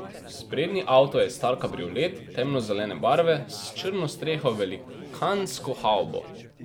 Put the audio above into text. Sprednji avto je star kabriolet, temnozelene barve, s črno streho, velikansko havbo.